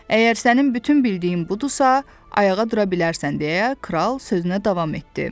Əgər sənin bütün bildiyin budursa, ayağa dura bilərsən, deyə Kral sözünə davam etdi.